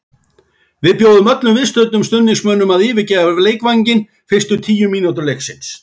Við bjóðum öllum viðstöddum stuðningsmönnum að yfirgefa leikvanginn fyrstu tíu mínútur leiksins.